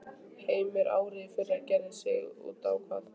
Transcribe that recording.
Heimir: Árið í fyrra gerði sig þá út á hvað?